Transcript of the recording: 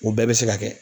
O bɛɛ bɛ se ka kɛ